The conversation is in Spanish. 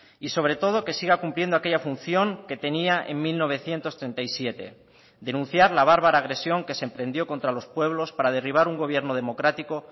y sobre todo que siga cumpliendo aquella función que tenía en mil novecientos treinta y siete denunciar la bárbara agresión que se emprendió contra los pueblos para derribar un gobierno democrático